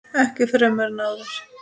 Ekki fremur en áður.